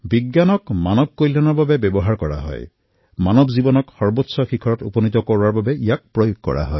বিজ্ঞান কেৱল মানৱৰ কল্যাণৰ বাবে কৰা প্ৰয়োগেই হল মানৱ জীৱনৰ সৰ্বোচ্চ উচ্চতম পৰ্যায়ক স্পৰ্শ কৰাৰ প্ৰয়োগ